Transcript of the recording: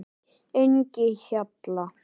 Engihjalla